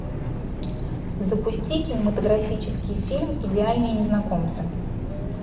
запусти кинематографический фильм идеальные незнакомцы